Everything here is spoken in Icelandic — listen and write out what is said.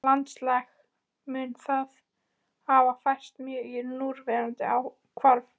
Landslag mun þá hafa færst mjög í núverandi horf.